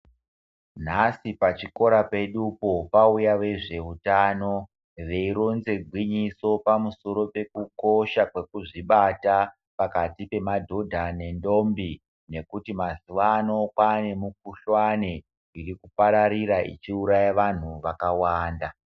Nhasi pachikora pedupo pauya vezveutano veironze gwinyiso pamusoro pekukosha kwekuzvibata pakati pemadhodha nentombi nekuti mazuvano kwane mukuhlani irikupararira ichiuraya vantu vakawanda.